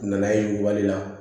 Nanaye wale la